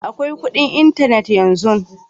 Akwai kudin intanet yanzu.